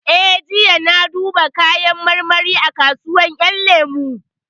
Eh, jiya na duba kayan marmari a kasuwar ƴan lemu